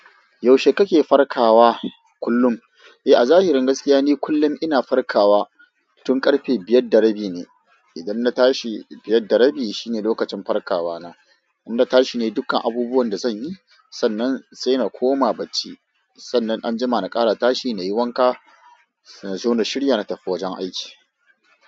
Yaushe kake farkawa kullum? Eh, a zahirin gaskiya ne kullum ina farkawa tun ƙarfe biyar da rabi ne. Idan na tashi biyar da rabi shine lokacin farkawa na. In na tashi ne dukkan abubuwan da zan yi, sannan sai na koma bacci. Sannan anjima na ƙara tashi nayi wanka, nazo na shirya na tafi wajen aiki.